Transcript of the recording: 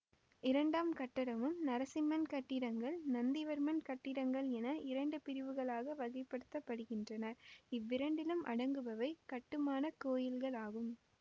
இரண்டாம் கட்டமும் நரசிம்மன் கட்டிடங்கள் நந்திவர்மன் கட்டிடங்கள் என இரண்டு பிரிவுகளாக வகை படுத்த படுகின்றன இவ்விரண்டிலும் அடங்குபவை கட்டுமான கோயில்களாகும்